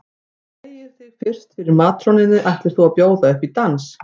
Þú hneigir þig fyrst fyrir matrónunni ætlir þú að bjóða upp í dans.